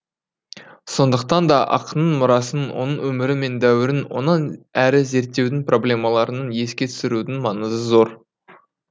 сондықтан да ақынның мұрасын оның өмірі мен дәуірін онан әрі зерттеудің проблемаларын еске түсірудің маңызы зор